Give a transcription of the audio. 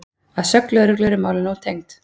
Að sögn lögreglu eru málin ótengd